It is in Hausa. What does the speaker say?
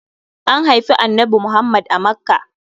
An haifi annanbi Muhammad a Makkah.